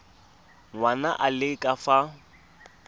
ngwana a le ka fa